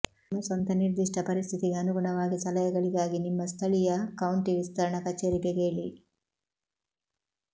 ನಿಮ್ಮ ಸ್ವಂತ ನಿರ್ದಿಷ್ಟ ಪರಿಸ್ಥಿತಿಗೆ ಅನುಗುಣವಾಗಿ ಸಲಹೆಗಳಿಗಾಗಿ ನಿಮ್ಮ ಸ್ಥಳೀಯ ಕೌಂಟಿ ವಿಸ್ತರಣಾ ಕಚೇರಿಗೆ ಕೇಳಿ